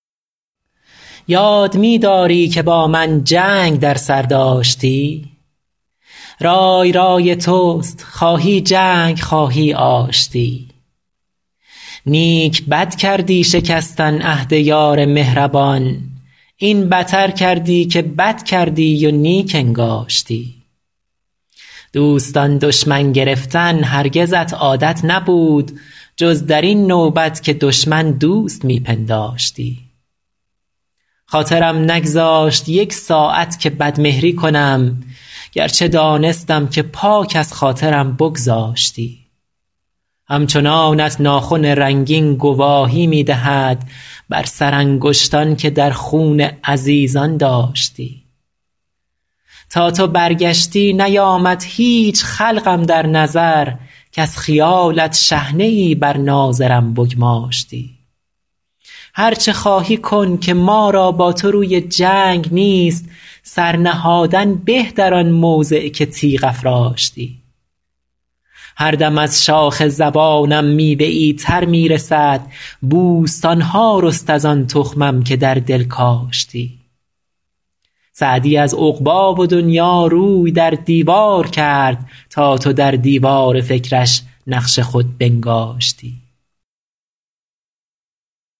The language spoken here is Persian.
یاد می داری که با من جنگ در سر داشتی رای رای توست خواهی جنگ خواهی آشتی نیک بد کردی شکستن عهد یار مهربان این بتر کردی که بد کردی و نیک انگاشتی دوستان دشمن گرفتن هرگزت عادت نبود جز در این نوبت که دشمن دوست می پنداشتی خاطرم نگذاشت یک ساعت که بدمهری کنم گرچه دانستم که پاک از خاطرم بگذاشتی همچنانت ناخن رنگین گواهی می دهد بر سرانگشتان که در خون عزیزان داشتی تا تو برگشتی نیامد هیچ خلق اندر نظر کز خیالت شحنه ای بر ناظرم بگماشتی هر چه خواهی کن که ما را با تو روی جنگ نیست سر نهادن به در آن موضع که تیغ افراشتی هر دم از شاخ زبانم میوه ای تر می رسد بوستان ها رست از آن تخمم که در دل کاشتی سعدی از عقبی و دنیا روی در دیوار کرد تا تو در دیوار فکرش نقش خود بنگاشتی